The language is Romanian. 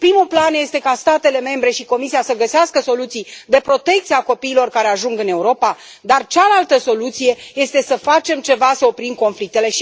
Primul plan este ca statele membre și Comisia să găsească soluții de protecție a copiilor care ajung în Europa, dar cealaltă soluție este să facem ceva să oprim conflictele.